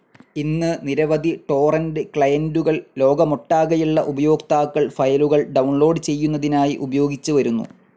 ഇന്ന് നിരവധി ടോറന്റ്‌ ക്ലയൻ്റുകൾ ലോകമൊട്ടാകെയുള്ള ഉപയോക്താക്കൾ ഫയലുകൾ ഡൌൺലോഡ്‌ ചെയ്യുന്നതിനായി ഉപയോഗിച്ച് വരുന്നു.